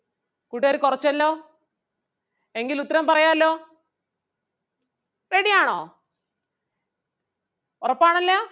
കൂട്ടുകാര് കൊറച്ചല്ലോ എങ്കില് ഉത്തരം പറയാല്ലോ ready ആണോ? ഒറപ്പാണല്ലോ